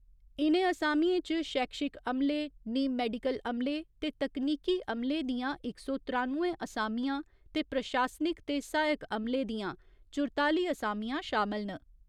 इ'नें असामिएं च शैक्षिक अमले, नीम मैडिकल अमले ते तकनीकी अमले दियां इक सौ त्रानुए असामियां ते प्रशासनिक ते सहायक अमले दिआं चुरताली असामियां शामल न।